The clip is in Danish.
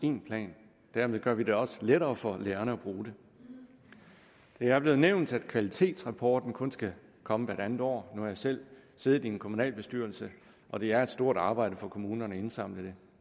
en plan dermed gør vi det jo også lettere for lærerne at bruge det det er blevet nævnt at kvalitetsrapporten kun skal komme hvert andet år nu har jeg selv siddet i en kommunalbestyrelse og det er et stort arbejde for kommunerne at indsamle det